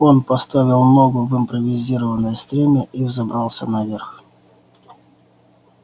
он поставил ногу в импровизированное стремя и взобрался наверх